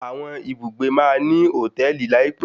Àwọn ibùgbé máa ní hòtẹ́ẹ̀lì láìpẹ́.